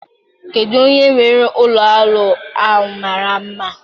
Kedu onye nwere olu olu a mara mma?